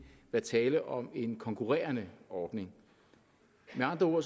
være tale om en konkurrerende ordning med andre ord